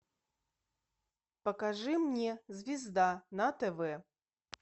покажи мне звезда на тв